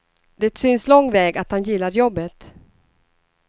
Det syns lång väg att han gillar jobbet.